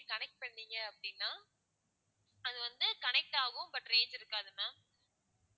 நீங்க connect பண்ணீங்க அப்படின்னா அது வந்து connect ஆகும் but range இருக்காது ma'am